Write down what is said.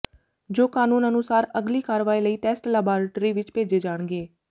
ਜੋ ਕਾਨੂੰਨ ਅਨੁਸਾਰ ਅਗਲੀ ਕਾਰਵਾਈ ਲਈ ਟੈਸਟ ਲਬਾਰਟਰੀ ਵਿੱਚ ਭੇਜੇ ਜਾਣਗੇ